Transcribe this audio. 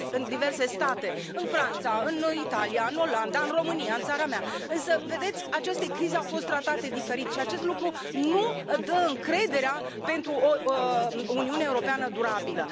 diverse state în Franța, în Italia, în Olanda, în România, țara mea însă, vedeți, aceste crize au fost tratate diferit și acest lucru nu dă încrederea pentru o Uniune Europeană durabilă.